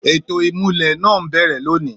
Ètò ìmulẹ̀ náà ń bẹ̀rẹ̀ lónìí.